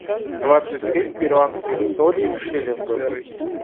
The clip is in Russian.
двадцать семь перуанских солей в шиллингах